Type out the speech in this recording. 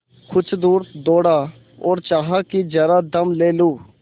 कुछ दूर दौड़ा और चाहा कि जरा दम ले लूँ